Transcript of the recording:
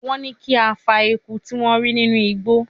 Wọ́n ní kí a fa eku tí wọ́n rí nínú igbó